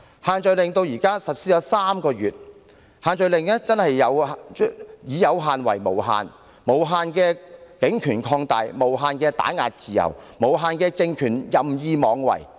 限聚令至今實施了3個月，可說是"以有限為無限"，無限的警權擴大，無限地打壓自由，無限地讓政權任意妄為。